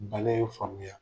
Bana in famuya